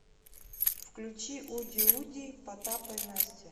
включи уди уди потапа и насти